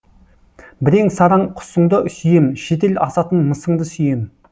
бірең сараң құсыңды сүйем шетел асатын мысыңды сүйем